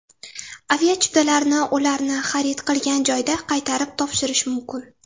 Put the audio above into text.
Aviachiptalarni ularni xarid qilgan joyda qaytarib topshirish mumkin.